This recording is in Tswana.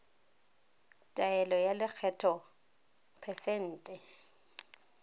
taelo ya lekgetho phesente